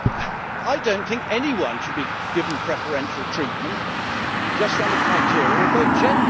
I do not think anyone should be given preferential treatment just on the criterion of their gender.